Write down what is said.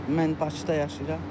Mən Bakıda yaşayıram.